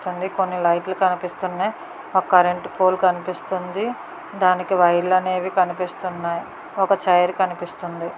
కొన్ని లైట్లు కనిపిస్తున్నాయి. ఓ కరెంటు పోలు కనిపిస్తుందీ. ధానికి వైర్లు అనేవి కనిపిస్తున్నాయి ఒక చేర్ కనిపిస్తుంది.